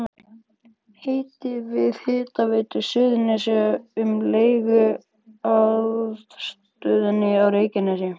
Samdi við Hitaveitu Suðurnesja um leigu á aðstöðunni á Reykjanesi.